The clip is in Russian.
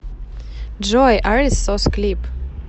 джой арис сос клип